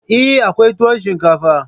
Eh, akwai tuwon shinkafa